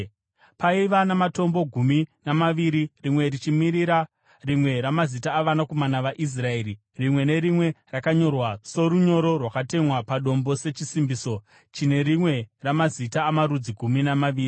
Paiva namatombo gumi namaviri, rimwe richimirira rimwe ramazita avanakomana vaIsraeri, rimwe nerimwe rakanyorwa, sorunyoro rwakatemwa padombo sechisimbiso, chine rimwe ramazita amarudzi gumi namaviri.